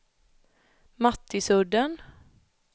Mattisudden